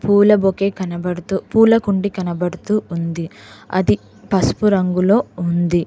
పూల బొకే కనబడుతూ పూలకుండి కనబడుతూ ఉంది అది పసుపు రంగులో ఉంది.